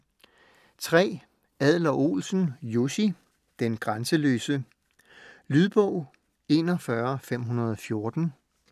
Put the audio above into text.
Adler-Olsen, Jussi: Den grænseløse Lydbog 41514